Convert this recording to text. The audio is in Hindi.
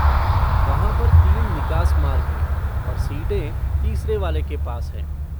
वहाँ पर तीन निकास मार्ग हैं और सीटें तीसरे वाले के पास हैं।